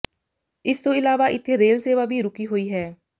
ਇਸ ਤੋਂ ਇਲਾਵਾ ਇਥੇ ਰੇਲ ਸੇਵਾ ਵੀ ਰੁਕੀ ਹੋਈ ਹੈ